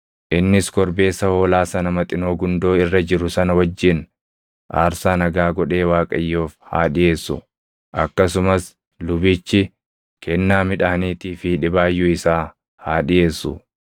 Innis korbeessa hoolaa sana Maxinoo gundoo irra jiru sana wajjin aarsaa nagaa godhee Waaqayyoof haa dhiʼeessu; akkasumas lubichi kennaa midhaaniitii fi dhibaayyuu isaa haa dhiʼeessu.